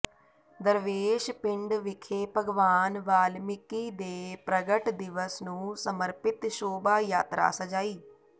ਦਰਵੇਸ਼ ਪਿੰਡ ਵਿਖੇ ਭਗਵਾਨ ਵਾਲਮੀਕਿ ਦੇ ਪ੍ਰਗਟ ਦਿਵਸ ਨੂੰ ਸਮਰਪਿਤ ਸ਼ੋਭਾ ਯਾਤਰਾ ਸਜਾਈ